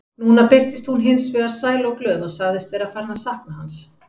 Núna birtist hún hins vegar sæl og glöð og sagðist vera farin að sakna hans.